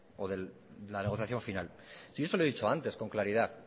o de la negociación final si yo se lo he dicho antes con claridad